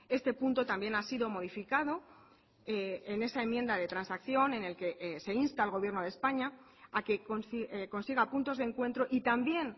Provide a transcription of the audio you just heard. este punto también ha sido modificado en esa enmienda de transacción en el que se insta al gobierno de españa a que consiga puntos de encuentro y también